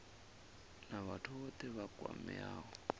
na vhathu vhothe vha kwameaho